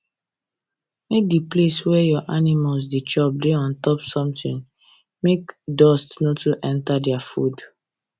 make de place wey your animals da chop da untop something make dust no too enter their food